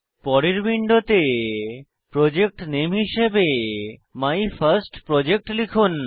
পরের উইন্ডোতে প্রজেক্ট নামে হিসাবে মাইফার্স্টপ্রজেক্ট লিখুন